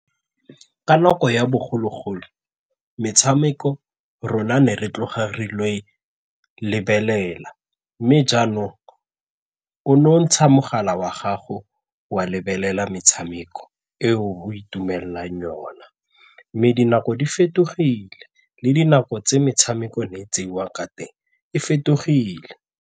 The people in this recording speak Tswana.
Ka nako ya bogologolo, metshameko rona ne re tloga re il'o e lebelela mme jaanong o no ntsha mogala wa gago wa lebelela metshameko e o itumelela jang yona mme dinako di fetogile le dinako tse metshameko ne e tseiwa ka teng e fetogile.